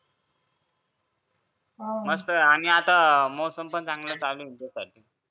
मस्त आणि आता मोसम पण चांगला चालू ये ना तिथं